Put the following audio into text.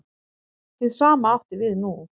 Hið sama átti við nú.